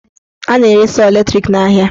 A na-ere sọọ latrik n'ahịa.